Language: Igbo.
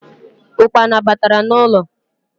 Ụkpana batara n’ụlọ